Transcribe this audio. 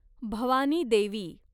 Bhavani Devi